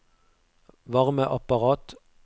varmeapparat